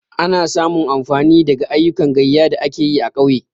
Ana samu amfani daga ayyukan gayya da ake yi a ƙauye.